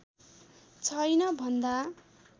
छैन भन्दा